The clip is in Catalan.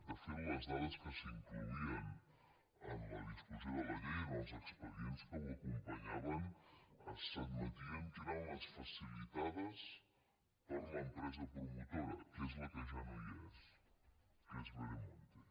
de fet les dades que s’incloïen en la discussió de la llei en els expedients que ho acompanyaven s’adme·tia que eren les facilitades per l’empresa promotora que és la que ja no hi és que és veremonte